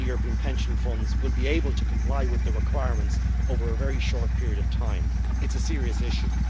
Whether European pension funds will be able to comply with the requirements over a very short period of time is a serious issue.